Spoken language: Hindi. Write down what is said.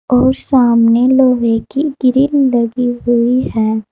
और सामने लोहे की ग्रिल लगी हुई है।